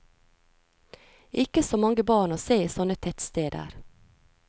Ikke så mange barn å se i sånne tettsteder.